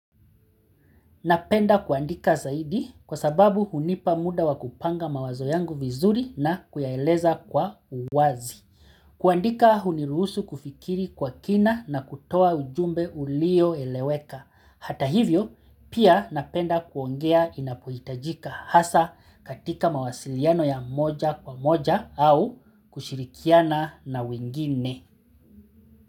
Napenda kuandika zaidi kwaababu hunipa muda wa kupanga mawazo yangu vizuri na kuyaeleza kwa uwazi. Kuandika huniruhusu kufikiri kwa kina na kutoa ujumbe ulio eleweka. Hata hivyo, pia napenda kuongea inapuitajika hasa katika mawasiliano ya moja kwa moja au kushirikiana na wingine.